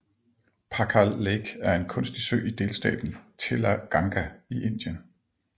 Pakhal Lake er en kunstig sø i delstaten Telangana i Indien